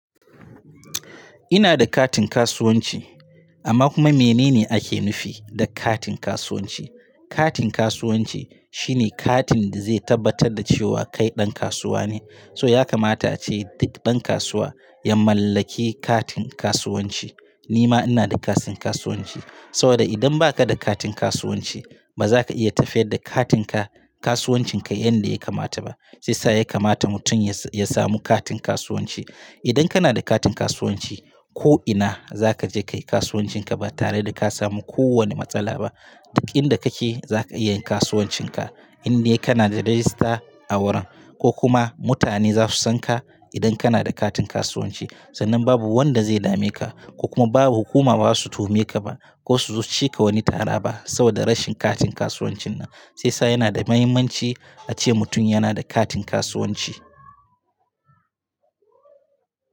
Ina da katin kasuwanci amma kuma menene ake nufi da katin kasuwanci? Katin kasuwanci shine katin da zai tabbatar da cewa kai ɗan kasuwa ne. So ya kamata ace duk ɗan kasuwa ya mallaki katin kasuwanci. Ni ma ina da katin kasuwanci saboda idan baka da katin kasuwanci ba zaka iya tafiya da katinka, kasuwancin ka yanda ya kamata ba. Shi sa ya kamata mutum ya samu katin kasuwanci. Idan kana da katin kasuwanci ko ina za ka je kayi kasuwancin ka ba tare da ka samu ko wani matsala ba. Duk inda kake za ka iya yin kasuwancin ka in dai kana da rajista a wurin ko kuma mutane za su san ka idan kana da katin kasuwanci. Sannan babu wanda zai dame ka ko kuma babu hukuma baza su toheme ka ba ko su zo cike wani tara ba saboda rashin katin kasuwancin nan. Sai sa yana da mahimmanci ace mutum yana da katin kasuwanci.